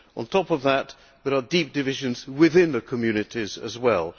On top of that, there are deep divisions within the communities as well.